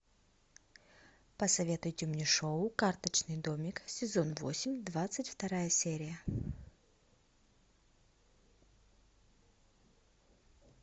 посоветуйте мне шоу карточный домик сезон восемь двадцать вторая серия